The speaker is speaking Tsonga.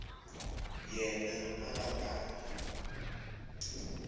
yena a a nga ha